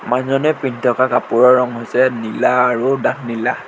মানুহজনে পিন্ধি থকা কাপোৰৰ ৰং হৈছে নীলা আৰু ডাঠ নীলা।